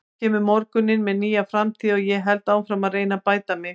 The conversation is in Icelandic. Svo kemur morgundagurinn með nýja framtíð og ég held áfram að reyna að bæta mig.